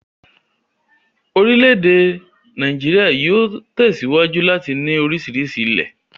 Orílẹ̀ èdè Nàíjíríà yóò tẹ̀síwájú láti ní oríṣiríṣi ilẹ̀.